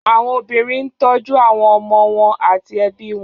Àwọn obìnrin ń tọ́jú àwọn ọmọ wọn àti ẹbí wọn